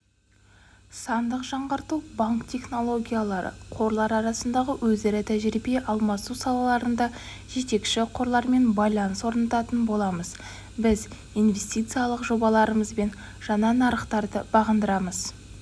сандық жаңғырту банк технологиялары қорлар арасындағы өзара тәжірибе алмасу салаларында жетекші қорлармен байланыс орнататын боламыз біз инвестициялық жобаларымызбен жаңа нарықтарды бағындырамыз